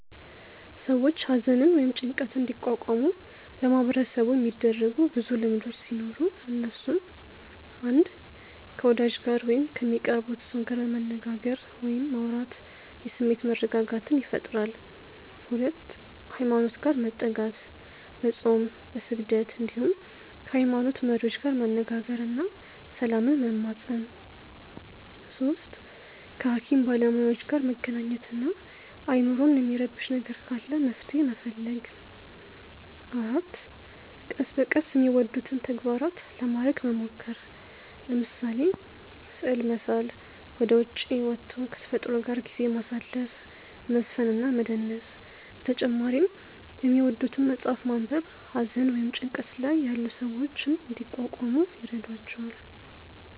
ሰዎች ሃዘንን ወይም ጭንቀትን እንዲቋቋሙ በማህበረሰቡ የሚደረጉ ብዙ ልምዶቹ ሲኖሩ እነሱም፣ 1. ከ ወዳጅ ጋር ወይም ከሚቀርቡት ሰው ጋር መነጋገር ወይም ማውራት የስሜት መረጋጋትን ይፈጥራል 2. ሃይማኖት ጋር መጠጋት፦ በፆም፣ በስግደት እንዲሁም ከ ሃይሞኖት መሪዎች ጋር መነጋገር እና ሰላምን መማፀን 3. ከ ሃኪም ባለሞያዎች ጋር መገናኘት እና አይምሮን የሚረብሽ ነገር ካለ መፍትሔ መፈለግ 4. ቀስ በቀስ የሚወዱትን ተግባራት ለማረግ መሞከር፤ ለምሳሌ፦ ስዕል መሳል፣ ወደ ዉጪ ወቶ ከ ተፈጥሮ ጋር ጊዜ ማሳለፍ፣ መዝፈን እና መደነስ በተጨማሪ የሚወዱትን መፅሐፍ ማንበብ ሃዘን ወይም ጭንቀት ላይ ያሉ ሰዎችን እንዲቋቋሙ ይረዷቸዋል።